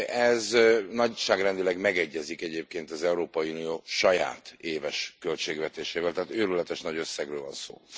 Ez nagyságrendileg megegyezik egyébként az Európai Unió saját éves költségvetésével, tehát őrületes nagy összegről van szó.